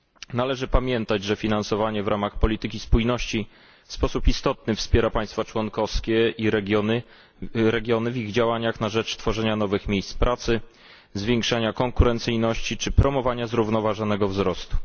Należy pamiętać, że finansowanie w ramach polityki spójności w sposób istotny wspiera państwa członkowskie i regiony w ich działaniach na rzecz tworzenia nowych miejsc pracy, zwiększania konkurencyjności czy promowania zrównoważonego wzrostu.